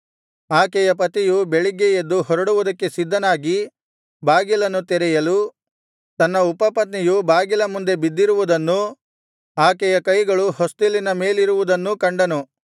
ಆಕೆಯ ಪತಿಯು ಬೆಳಿಗ್ಗೆ ಎದ್ದು ಹೊರಡುವುದಕ್ಕೆ ಸಿದ್ಧನಾಗಿ ಬಾಗಿಲನ್ನು ತೆರೆಯಲು ತನ್ನ ಉಪಪತ್ನಿಯು ಬಾಗಿಲ ಮುಂದೆ ಬಿದ್ದಿರುವುದನ್ನೂ ಆಕೆಯ ಕೈಗಳು ಹೊಸ್ತಿಲಿನ ಮೇಲಿರುವುದನ್ನೂ ಕಂಡನು